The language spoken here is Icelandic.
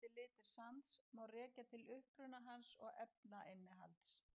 Mismunandi litir sands má rekja til uppruna hans og efnainnihalds.